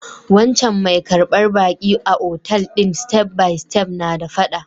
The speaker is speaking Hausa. Wancan mai karbar baƙi a otal din step by step na da fada.